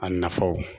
A nafaw